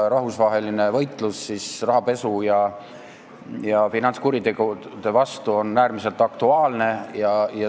Rahvusvaheline võitlus rahapesu ja finantskuritegude vastu on äärmiselt aktuaalne.